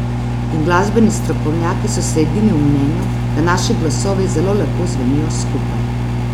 In glasbeni strokovnjaki so si edini v mnenju, da naši glasovi zelo lepo zvenijo skupaj.